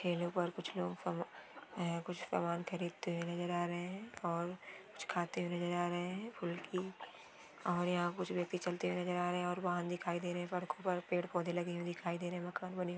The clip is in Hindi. ठेले पर कुछ लोग सामा उह कुछ सामान खरीद ते हुए नजर आ रहे हे और कुछ खाते हुए नजर आ रहे हे फुलकी और इहा कुछ ब्यक्ति चलते हुए नजर आ रहे हे और बाहन दिखाई दे रहे हे पड़को पर पेड़ पौधे लगे हुइ दिखाई दे रहे हे मकान बनी हुई--